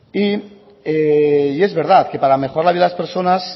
es verdad que para mejorar la vida de las personas